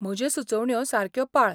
म्हज्यो सुचोवण्यो सारक्यो पाळ.